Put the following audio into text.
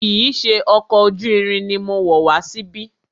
Kìí ṣe ọkọ̀ ojú irin ni mo wọ̀ wá síbí.